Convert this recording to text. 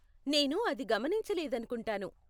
నేను అది గమనించలేదనుకుంటాను.